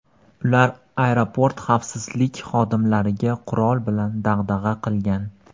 Ular aeroport xavfsizlik xodimlariga qurol bilan dag‘dag‘a qilgan.